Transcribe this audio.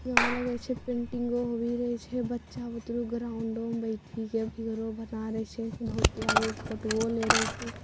यहां लग छे पेन्टिंग होवी रे छे बच्चा ग्राउंड बना रे छे बहुत प्यारे फोटुओ ले रे छे ।